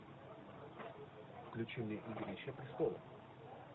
включи мне игрища престолов